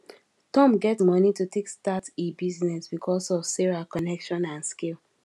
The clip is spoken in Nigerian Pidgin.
tom get money to take start e business because of sarah connection and skill